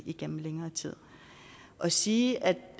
igennem længere tid at sige at